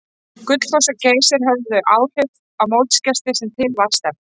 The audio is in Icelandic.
Gullfoss og Geysir höfðu þau áhrif á mótsgesti sem til var stefnt.